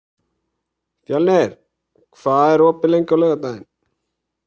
Fjölnir, hvað er opið lengi á laugardaginn?